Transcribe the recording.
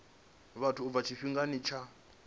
vhathu u bva tshifhingani tsha